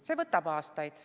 See võtab aastaid.